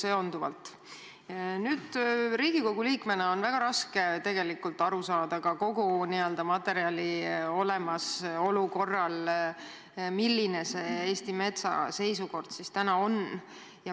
Minul on Riigikogu liikmena, st kogu materjali olemasolu korral väga raske aru saada, milline Eesti metsa seisukord praegu on.